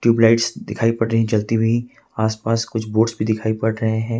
Lights दिखाई पड़ रही जलती हुई आसपास कुछ बोर्डस भी दिखाई पड़ रहे हैं।